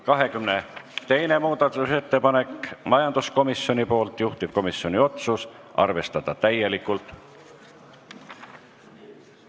22. muudatusettepanek majanduskomisjonilt, juhtivkomisjoni otsus: arvestada täielikult.